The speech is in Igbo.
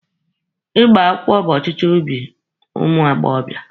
Ịgba akwụkwọ bụ ọchịchọ obi ụmụ agbọbịa.